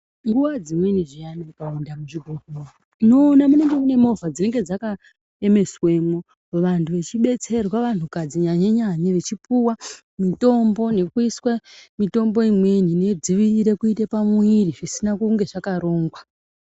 Nguwa dzimweni zviyani dzakawanda muzvibhedhlera tinoona munenge mune movha dzinenge dzakaemeswemwo vantu vechibetserwa vantu kadzi nyanye nyanye vachipuwa mitombo nekuiswe mitombo imweni inodzivirire kuite pamuviri zvisina kunge zvakarongwa .